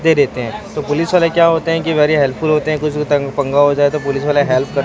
दे देते है तो पुलिस वाले क्या होते है कि वेरी हेल्प फुल होते है कोइ से तं पंगा हो जाए तो पुलिस वाले हेल्प क --